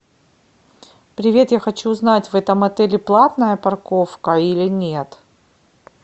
привет я хочу узнать в этом отеле платная парковка или нет